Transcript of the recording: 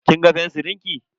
Kin ga fensirin ki?